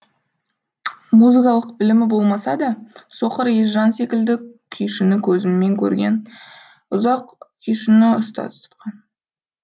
музыкалық білімі болмаса да соқыр есжан секілді күйшіні көзімен көрген ұзақ күйшіні ұстаз тұтқан